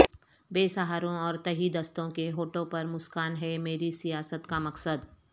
بے سہاروں اور تہی دستوں کے ہونٹوں پرمسکان ہے میری سیاست کا مقصد